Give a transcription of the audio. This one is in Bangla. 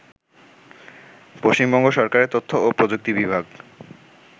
পশ্চিমবঙ্গ সরকারের তথ্য ও প্রযুক্তি বিভাগ